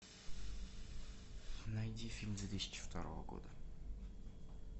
найди фильм две тысячи второго года